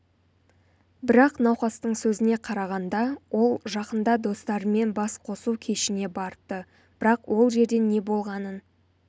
бірақ науқастың сөзіне қарағанда ол жақында достарымен бас қосу кешіне барыпты бірақ ол жерде не болғанын